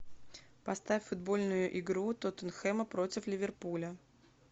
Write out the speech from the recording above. поставь футбольную игру тоттенхэма против ливерпуля